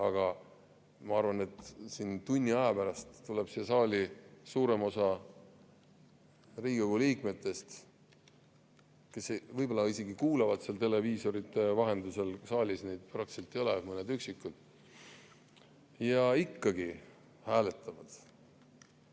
Aga ma arvan, et tunni aja pärast tuleb siia saali suurem osa Riigikogu liikmetest, kes võib-olla isegi kuulavad televiisorite vahendusel – saalis neid eriti ei ole, on mõned üksikud –, ja ikkagi hääletavad.